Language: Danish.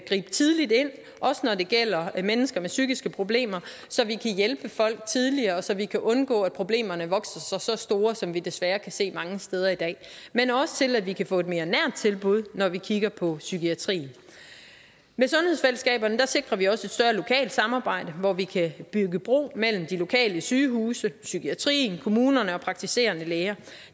gribe tidligt ind også når det gælder mennesker med psykiske problemer så vi kan hjælpe folk tidligere og så vi kan undgå at problemerne vokser sig så store som vi desværre kan se mange steder i dag men også til at vi kan få et mere nært tilbud når vi kigger på psykiatrien man sundhedsfællesskaberne sikrer vi også et større lokalt samarbejde hvor vi kan bygge bro mellem de lokale sygehuse psykiatrien kommunerne og praktiserende læger